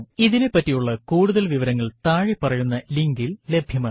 ഇതിനെപ്പറ്റിയുള്ള കൂടുതൽ വിവരങ്ങൾ താഴെ പറയുന്ന ലിങ്കിൽ ലഭ്യമാണ്